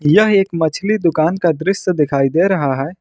यह एक मछली दुकान का दृश्य दिखाई दे रहा है।